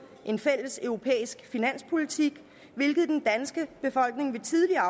en fælles europæisk finanspolitik hvilket den danske befolkning ved tidligere